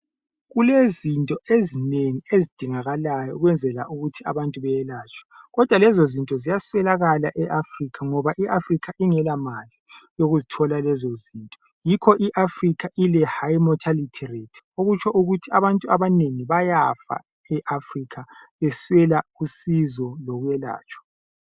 Kulezinto ezinengi ezidingakalayo ukwenzela ukuthi abantu beyelatshwe, kodwa lezozinto ziyaswelakala eAfrica ngoba iAfrica ingelamali yokuzithola lezozinto. Yikho iAfrica ile high mortality rate okutsho ukuthi abantu abanengi bayafa eAfrica beswela usizo lokwelatshwa.